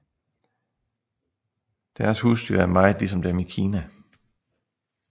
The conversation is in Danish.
Deres husdyr er meget ligesom dem i Kina